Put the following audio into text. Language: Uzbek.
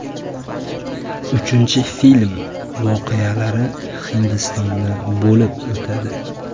Uchinchi film voqealari Hindistonda bo‘lib o‘tadi.